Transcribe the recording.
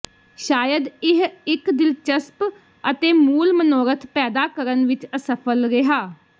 ਸ਼ਾਇਦ ਇਹ ਇੱਕ ਦਿਲਚਸਪ ਅਤੇ ਮੂਲ ਮਨੋਰਥ ਪੈਦਾ ਕਰਨ ਵਿੱਚ ਅਸਫਲ ਰਿਹਾ